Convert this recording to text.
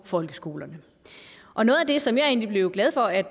folkeskolerne og noget af det som jeg egentlig blev glad for at